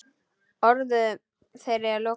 Orðum þeirra er lokið.